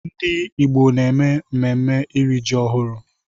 Ndị Igbo na-eme mmemme iri ji ọhụrụ.